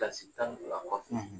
tan ni fila kɔfɛ